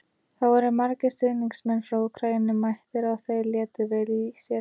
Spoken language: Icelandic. Það voru margir stuðningsmenn frá Úkraínu mættir og þeir létu vel í sér heyra.